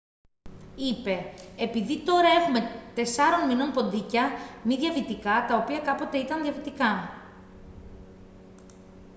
είπε «επειδή τώρα έχουμε 4 μηνών ποντίκια μη διαβητικά τα οποία κάποτε ήταν διαβητικά»